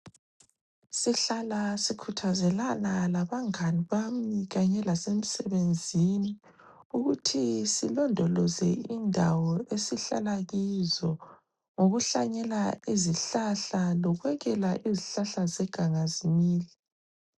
Sihlala sikhuthazelana labangani bami kanye lasemsebenzini ukuthi silondoloze indawo esihlala kizo ngokuhlanyela izihlahla lokwekeka izihlahla zeganga zimile.